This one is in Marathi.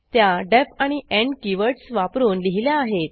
त्या डीईएफ आणि एंड कीवर्डस वापरून लिहिल्या आहेत